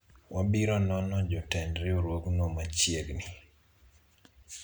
wabiro nono jotend riwruogno machiegni